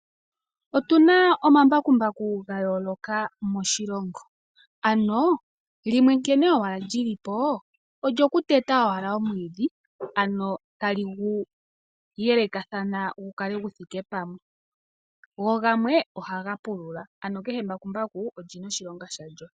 Otuna ombakumbaku ga yooloka moshilongo, ano limwe nkene owala lyilipo olyoku teta owala omwiidhi ano tali gu yelekathana gu kale gu thike pamwe, go gamwe ohaga pulula ano kehe embakumbaku olina oshilonga shalyo.